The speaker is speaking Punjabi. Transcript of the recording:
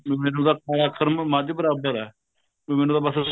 ਮੈਨੂੰ ਤਾਂ ਕਾਲਾ ਅੱਖਰ ਮੱਝ ਬਰਾਬਰ ਏ ਮੈਨੂੰ ਤਾਂ ਬੱਸ